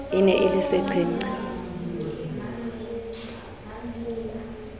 e ne e le seqhenqha